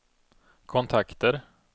kontakter